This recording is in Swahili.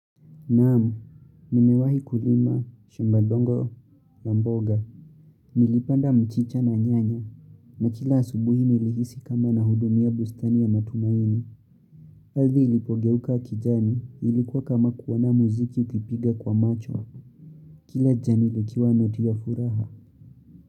Naam, nimewahi kulima, shomba dongo, la mboga. Nilipanda mchicha na nyanya, na kila asubuhi nilihisi kama na hudumia bustani ya matumaini. Ardhi ilipogeuka kijani ilikuwa kama kuoana muziki ukipiga kwa macho. Kila jani likiwa noti ya furaha.